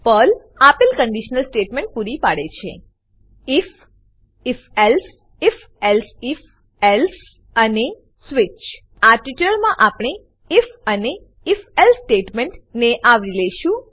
Perl આપેલ conditional statement પૂરી પાડે છે I F if if else if if elsif else અને if elsif else switch switch આ ટ્યુટોરીયલમાં આપણે આઇએફ અને if એલ્સે સ્ટેટમેન્ટ ને આવરી લેશું